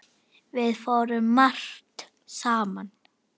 Við fórum margt saman.